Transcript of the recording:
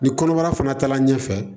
Ni kɔnɔbara fana taala ɲɛfɛ